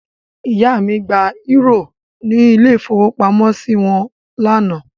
Ìyá mi gba eúrò ní ilé-ìfowópamọ́sí wọn lánàá.